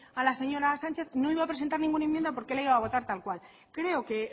a la señora sánchez no iba a presentar ninguna enmienda porque la iba a votar tal cual creo que